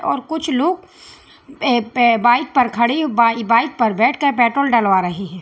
और कुछ लोग ए पे बाइक पर खड़े बाई बाइक पर बैठकर पेट्रोल डलवा रहे हैं।